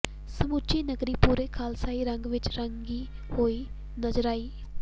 ਸਮੁੱਚੀ ਨਗਰੀ ਪੂਰੇ ਖ਼ਾਲਸਾਈ ਰੰਗ ਵਿੱਚ ਰੰਗੀ ਹੋਈ ਨਜ਼ਰ ਆਈ